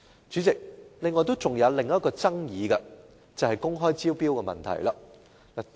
主席，另一爭議是公開招標的問題。